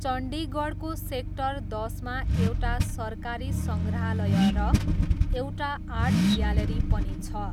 चण्डीगढको sector दसमा एउटा सरकारी सङ्ग्रहालय र एउटा आर्ट ग्यालरी पनि छ।